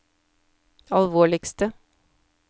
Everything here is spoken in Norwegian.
alvorligste